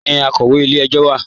Níbọ̀ ni akọwé ilẹ̀-ẹ̀jọ̀ wa?